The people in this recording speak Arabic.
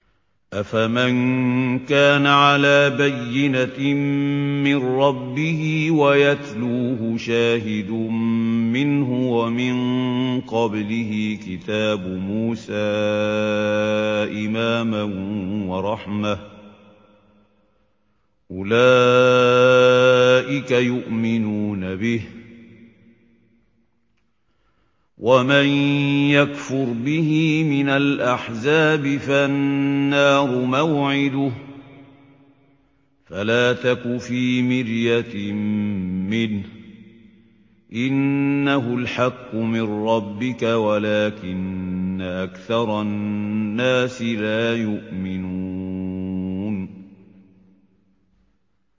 أَفَمَن كَانَ عَلَىٰ بَيِّنَةٍ مِّن رَّبِّهِ وَيَتْلُوهُ شَاهِدٌ مِّنْهُ وَمِن قَبْلِهِ كِتَابُ مُوسَىٰ إِمَامًا وَرَحْمَةً ۚ أُولَٰئِكَ يُؤْمِنُونَ بِهِ ۚ وَمَن يَكْفُرْ بِهِ مِنَ الْأَحْزَابِ فَالنَّارُ مَوْعِدُهُ ۚ فَلَا تَكُ فِي مِرْيَةٍ مِّنْهُ ۚ إِنَّهُ الْحَقُّ مِن رَّبِّكَ وَلَٰكِنَّ أَكْثَرَ النَّاسِ لَا يُؤْمِنُونَ